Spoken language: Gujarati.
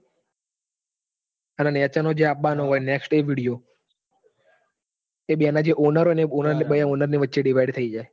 અને નીચે નો જે અવાનો હોય એ video એ બેના જે owner હોય ને હા એ owner ના વચ્ચે divide થઇ જાય.